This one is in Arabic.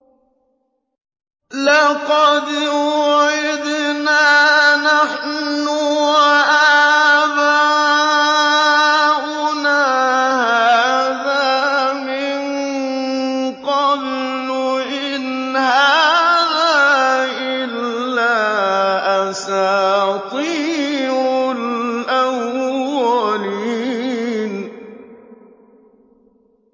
لَقَدْ وُعِدْنَا نَحْنُ وَآبَاؤُنَا هَٰذَا مِن قَبْلُ إِنْ هَٰذَا إِلَّا أَسَاطِيرُ الْأَوَّلِينَ